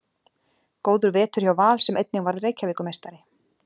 Góður vetur hjá Val sem einnig varð Reykjavíkurmeistari.